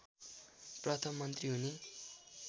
प्रथम मन्त्री हुने